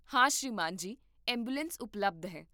ਹਾਂ ਸ੍ਰੀਮਾਨ ਜੀ, ਐਂਬੂਲੈਂਸ ਉਪਲਬਧ ਹੈ